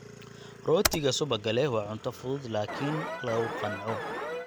Rootiga subagga leh waa cunto fudud laakiin lagu qanco.